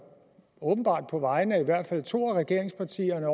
åbenbart på vegne af i hvert fald to af regeringspartierne